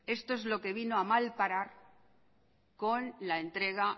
esto es lo que vino a mal parar con la entrega